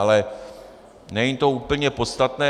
Ale není to úplně podstatné.